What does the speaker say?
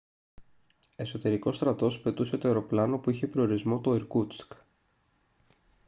εσωτερικός στρατός πετούσε το αεροπλάνο που είχε προορισμό το ιρκούτσκ